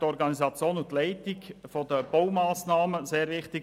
Die Organisation und die Leitung der Baumassnahmen seien sehr wichtig.